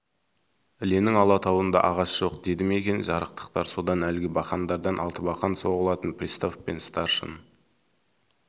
іленің алатауында ағаш жоқ деді ме екен жарықтықтар содан әлгі бақандардан алтыбақан соғылатын пристав пен старшын